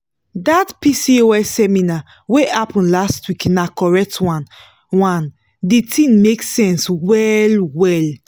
dat pcos seminar wey happen last week na correct one one di thing make sense well-well.